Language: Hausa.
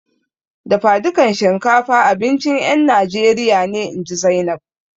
Dafadukan shinkafa abincin ƴan Najeriya ne, inji Zainab.